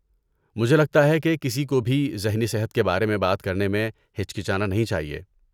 مجھے لگتا ہے کہ کسی کو بھی ذہنی صحت کے بارے میں بات کرنے میں ہچکچانا نہیں چاہیے۔